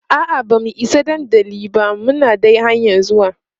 a'a bamu Isa dandali ba Muna dai hanƴan zuwa